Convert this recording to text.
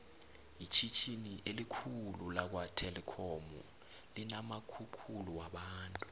itjhitjhini elikhulu lakwa telikhomu linamakukhulu wabantu